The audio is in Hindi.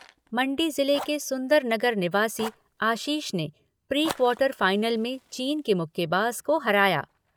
मण्डी ज़िले के सुंदरनगर निवासी आशीष ने प्री क्वार्टर फाइनल में चीन के मुक्केबाज़ को हराया।